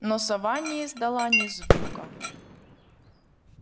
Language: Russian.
но сова не издала ни звука